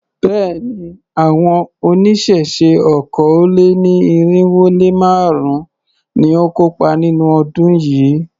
Béèni, àwọn oníṣẹ̀ṣe okòó-lé-ní-irínwó-lé-márùn-ún ni ó kópa nínú ọdún yìí.